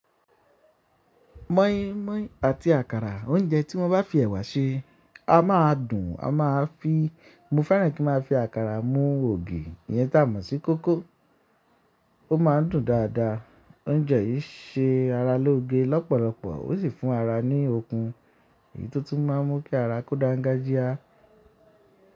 Mọ́ínmọ́ín àti àkàrà oúnjẹ tí wọ́n bá fi ẹ̀wà ṣe a máa dùn. A máa fi, mo fẹ́ràn kí n máa fi àkàrà mú ògì, ìyẹn tá mọ̀ sí kókó. Ó máa ń dùn dáadáa. Oúnjẹ yìí ṣe ara lóge lọ́pọ̀lọpọ̀ ó sì fún ara ní okun èyí tó tún máa ń mú kí ara kó dá gájíá.